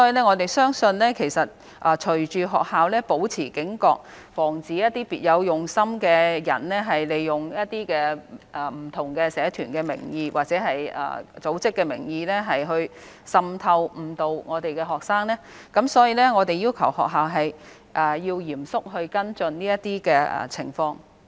我們相信學校會保持警覺，防止別有用心的人利用不同社團或組織的名義滲透及誤導我們的學生，所以我們要求學校嚴肅跟進這些情況。